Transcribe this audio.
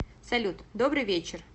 салют добрый вечер